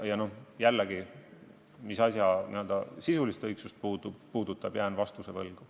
Ja jällegi: mis puutub asja n-ö sisulisse õigsusesse, siis jään vastuse võlgu.